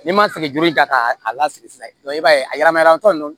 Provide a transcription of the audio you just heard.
N'i ma sɛgɛnjuru in ta k'a lasigi sisan i b'a ye a yɛrɛmayɛlɛmatɔ nunnu